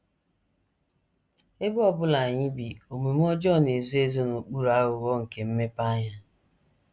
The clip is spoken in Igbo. Ebe ọ bụla anyị bi, omume ọjọọ na - ezo - ezo n’okpuru aghụghọ nke mmepeanya.